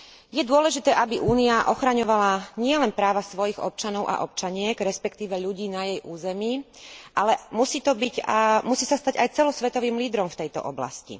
Je dôležité, aby Únia ochraňovala nielen práva svojich občanov a občianok, respektíve ľudí na jej území, ale musí sa stať aj celosvetovým lídrom v tejto oblasti.